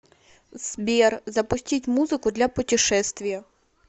сбер запустить музыку для путешествия